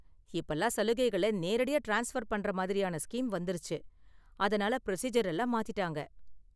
இப்பலாம் சலுகைகள நேரடியா ட்ரான்ஸ்பர் பண்ற மாதிரியான ஸ்கீம் வந்துருச்சு, அதனால ப்ரொசீஜர் எல்லாம் மாத்திட்டாங்க.